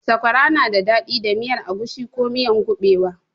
Sakwara na daɗi da miyar agushi ko miyan kuɓewa.